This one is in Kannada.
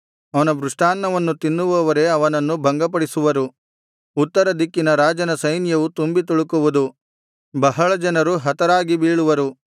ಅವನ ಮೃಷ್ಟಾನ್ನವನ್ನು ತಿನ್ನುವವರೇ ಅವನನ್ನು ಭಂಗಪಡಿಸುವರು ಉತ್ತರ ದಿಕ್ಕಿನ ರಾಜನ ಸೈನ್ಯವು ತುಂಬಿ ತುಳುಕುವುದು ಬಹಳ ಜನರು ಹತರಾಗಿ ಬೀಳುವರು